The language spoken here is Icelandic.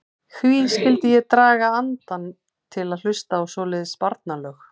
Hví skyldi ég draga andann til að hlusta á svoleiðis barnalög.